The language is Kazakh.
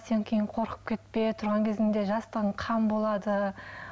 сен кейін қорқып кетпе тұрған кезіңде жастығың қан болады